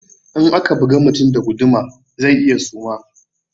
In aka buga mutum da guduma zai iya suma